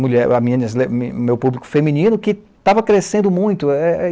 me meu público feminino, que estava crescendo muito. É é